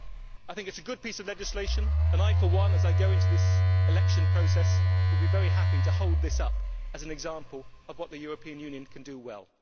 I think it is a good piece of legislation and I for one, as I go into this election process, will be very happy to hold this up as an example of what the European Union can do well.